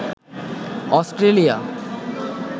Australia